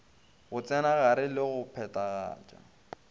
go tsenagare le go phathagatša